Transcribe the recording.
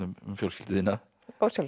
fjölskyldu þína ósjálfrátt